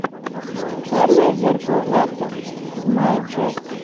черное зеркало двадцать седьмая часть